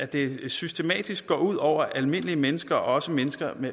det systematisk går ud over almindelige mennesker også mennesker